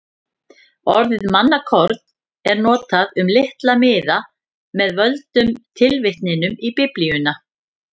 Orðið mannakorn er notað um litla miða með völdum tilvitnunum í Biblíuna.